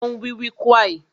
O n wiwikuai